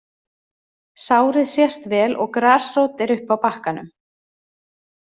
Sárið sést vel og grasrót er uppi á bakkanum.